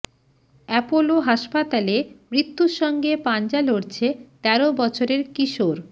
Apollo হাসপাতালে মৃত্যুর সঙ্গে পাঞ্জা লড়ছে তেরো বছরের কিশোর